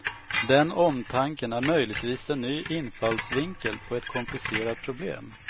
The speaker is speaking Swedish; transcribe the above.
Den omtanken är möjligvis en ny infallsvinkel på ett komplicerat problem.